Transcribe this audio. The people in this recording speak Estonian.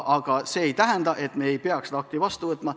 Aga see ei tähenda, et me ei peaks seda õigusakti vastu võtma.